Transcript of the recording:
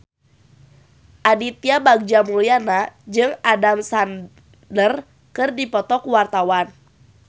Aditya Bagja Mulyana jeung Adam Sandler keur dipoto ku wartawan